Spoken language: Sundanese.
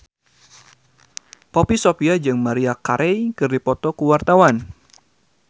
Poppy Sovia jeung Maria Carey keur dipoto ku wartawan